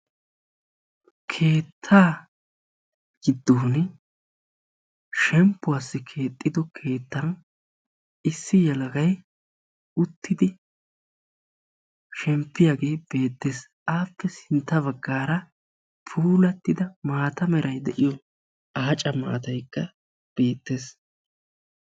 Keetta giddon shemppuwassi keexxidi keettan issi yelagay uttidi shemppiyaage beettees. Appe sintta baggaara puulattida maata meray de'iyo aacca maataykka de'iyaagee beettees.